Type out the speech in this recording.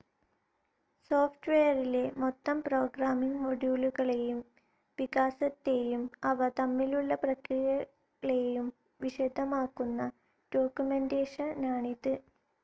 Soft വെയെറിലെ മൊത്തം programming മോഡ്യൂളുകളുടെ വികാസത്തേയും അവ തമ്മിലുള്ള പ്രതിക്രിയകളേയും വിശദമാക്കുന്ന ഡോക്കുമെന്റേഷ നാണിത്.